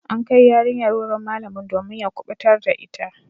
An kai yarinyar wurin malamin domin ya kubutar da ita.